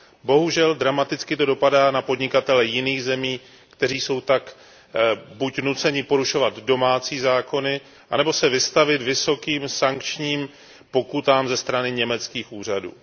Bohužel, dramaticky to dopadá na podnikatele jiných zemí, kteří jsou tak buď nuceni porušovat domácí zákony, nebo se vystavit vysokým sankčním pokutám ze strany německých úřadů.